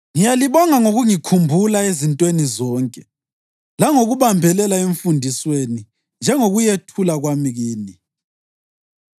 Ngiyalibonga ngokungikhumbula ezintweni zonke langokubambelela emfundisweni njengokuyethula kwami kini.